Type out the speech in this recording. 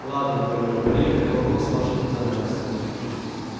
ладно говорю проехали вопрос вашей национальности